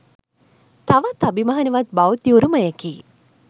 තවත් අභිමානවත් බෞද්ධ උරුමයකි.